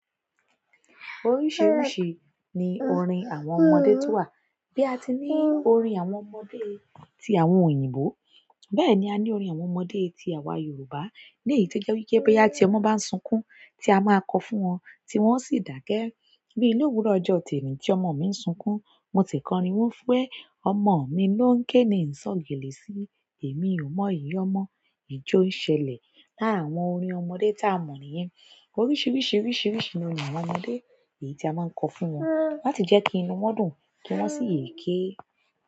Oríṣiríṣi ni orin àwọn ọmọdé tó wà, bí a ti ní orin àwọn ọmọdé ti àwọn òyìnbó, bẹ́ẹ̀ ni a ní orin àwọn ọmọdé ti àwa Yorùbá. Ní èyí tí o jẹ wípé boya ti ọmọ bá ń sunkún, tí a máa kọ fún wọn, tí wọ́n sì dáke. Bíi ní òwúrọ̀ ọjọ́ teni tí ọmọ mi ń sunkún, mo ti kọ orin wípé ẹ, ọmọ mi ló ń ké ni ń sọ̀ gèlè sí, èmi ò mọ ìyi ọmọ, ìjo ń ṣẹlẹ̀. Lára àwọn orin ọmọdé tá a mọ̀ nìyẹn, oríṣiríṣi oríṣiríṣi ni orin àwọn ọmọdé èyí tí a máa ń kọ fún wọn láti jẹ́ kí inú wọn dùn kí wọ́n sì yè é ké.